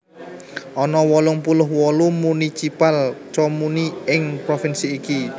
Ana wolung puluh wolu municipal comuni ing provinsi iki